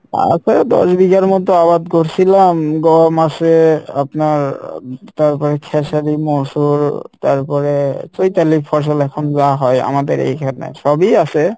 আছে দশ বিঘার মতো আবাদ করসিলাম গম আসে আপনার তারপরে খেসারি মসুর তারপরে চৈতালির ফসল এখন যা হয় আমাদের এইখানে সবই আসে,